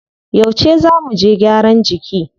Yauce zá muje gyaran jiki?